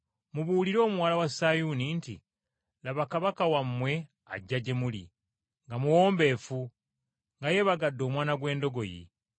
“Mubuulire omuwala wa Sayuuni nti, ‘Laba Kabaka wammwe ajja gye muli nga muwombeefu, nga yeebagadde omwana gw’endogoyi.’ ”